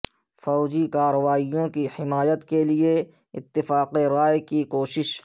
فوجی کارروائیوں کی حمایت کے لیے اتفاق رائے کی کوشش